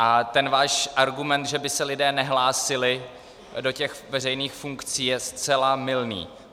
A ten váš argument, že by se lidé nehlásili do těch veřejných funkcí, je zcela mylný.